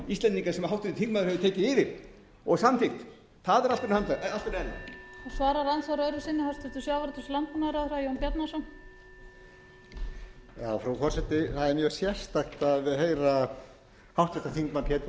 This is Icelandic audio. heyra háttvirtur þingmaður pétur h blöndal sem er líklega búinn að vera í ríkisstjórn var ekki háttvirtur þingmaður